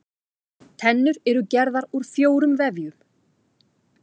Tennur eru gerðar úr fjórum vefjum.